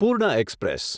પૂર્ણ એક્સપ્રેસ